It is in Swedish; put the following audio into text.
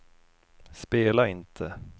spela inte